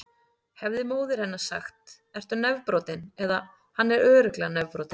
Hefði móðir hennar sagt: Ertu nefbrotinn? eða: Hann er örugglega nefbrotinn.